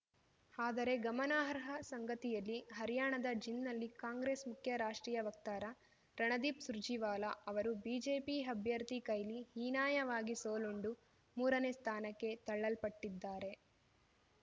ಆದರೆ ಗಮನಾರ್ಹ ಸಂಗತಿಯಲ್ಲಿ ಹರ್ಯಾಣದ ಜಿಂದ್‌ನಲ್ಲಿ ಕಾಂಗ್ರೆಸ್‌ ಮುಖ್ಯ ರಾಷ್ಟ್ರೀಯ ವಕ್ತಾರ ರಣದೀಪ್‌ ಸುರ್ಜೇವಾಲಾ ಅವರು ಬಿಜೆಪಿ ಅಭ್ಯರ್ಥಿ ಕೈಲಿ ಹೀನಾಯವಾಗಿ ಸೋಲುಂಡು ಮೂರನೇ ಸ್ಥಾನಕ್ಕೆ ತಳ್ಳಲ್ಪಟ್ಟಿದ್ದಾರೆ